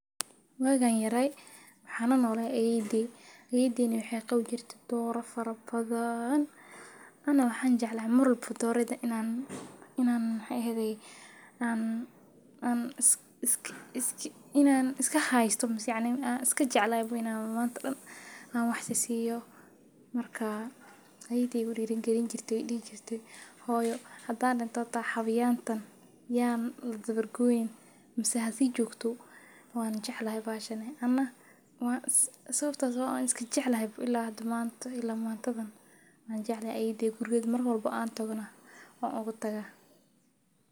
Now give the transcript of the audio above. Wagannyara waxan lanola ayeydey ayedeyna waxee qabte dora fara badan ana waxan jecla doyeyda iska hayo an wax siyo ayeyedeyda aya igu diri galin jirte hata hadan dito hasi jogto ya ladawar goynin wan jeclahay anaigana wanjeclaha mar walbawo an ayeydey gurogeda tago wan ogu taga wan iska jeclahay bahashan.